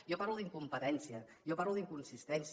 jo parlo d’incompetència jo parlo d’inconsistència